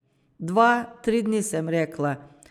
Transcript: Dva, tri dni, sem rekla.